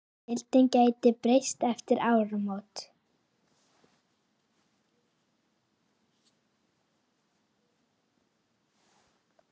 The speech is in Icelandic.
Deildin gæti breyst eftir áramót.